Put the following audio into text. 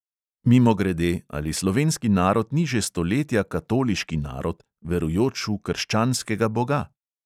Mimogrede, ali slovenski narod ni že stoletja katoliški narod, verujoč v krščanskega boga?